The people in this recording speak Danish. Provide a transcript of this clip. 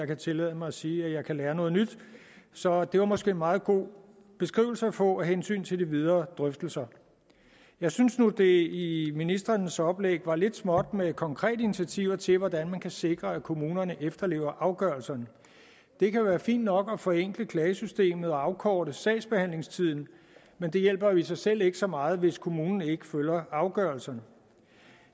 kan tillade mig at sige at jeg kan lære noget nyt så det var måske en meget god beskrivelse at få af hensyn til de videre drøftelser jeg synes nu at det i ministrenes oplæg var lidt småt med konkrete initiativer til hvordan man kan sikre at kommunerne efterlever afgørelserne det kan være fint nok at forenkle klagesystemet og afkorte sagsbehandlingstiden men det hjælper jo i sig selv ikke så meget hvis kommunen ikke følger afgørelserne